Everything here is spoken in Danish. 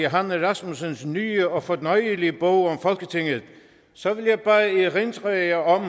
rasmussens nye og fornøjelige bog om folketinget så vil jeg bare erindre jer om